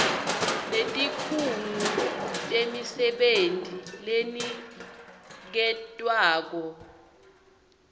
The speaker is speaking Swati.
netikhungo temisebenti leniketwako